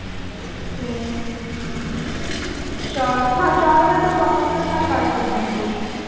ਫੇਰ ਚਾਰ ਹਾਂ ਚਾਰ ਵਜੇ ਤੋਂ ਬਾਅਦ ਮੈਂ ਕਰ ਸਕਦੀ ਹਾਂ ਕੁਝ